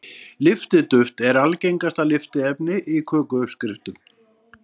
Lyftiduft er algengasta lyftiefni í kökuuppskriftum.